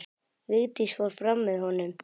Vigdís fór fram með honum.